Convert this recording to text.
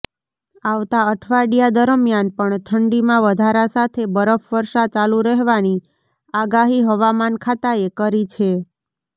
આવતા અઠવાડિયા દરમ્યાન પણ ઠંડીમાં વધારા સાથે બરફવર્ષા ચાલુ રહેવાની આગાહી હવામાન ખાતાએ કરી છે